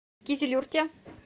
кизилюрте